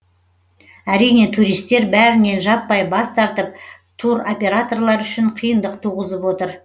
әрине туристер бәрінен жаппай бас тартып туроператорлар үшін қиындық туғызып отыр